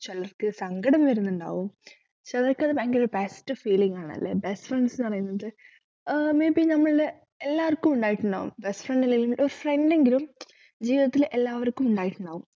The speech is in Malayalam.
ചിലർക്ക് സങ്കടം വരുന്നുണ്ടാകും ചിലർക്ക് അത് ഭയങ്കര best feeling ആണല്ലേ best friends ന്നു പറയുന്നത് ആഹ് may be നമ്മള് എല്ലാർക്കും ഉണ്ടായിട്ടുണ്ടാകും best friend ഇല്ലെങ്കില് ഒരു friend എങ്കിലും ജീവിതത്തിൽ എല്ലാവർക്കും ഉണ്ടായിട്ടുണ്ടാകും